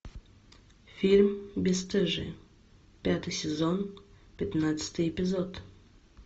фильм бесстыжие пятый сезон пятнадцатый эпизод